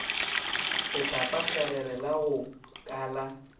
letlapakgerere la go ka la